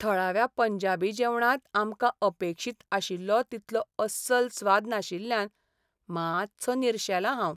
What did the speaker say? थळाव्या पंजाबी जेवणांत आमकां अपेक्षीत आशिल्लो तितलो अस्सल स्वाद नाशिल्ल्यान मातसो निरशेलां हांव.